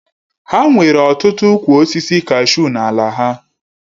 Ha nwere ọtụtụ ụkwụ osisi kashuu n'ala ha